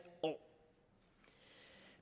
år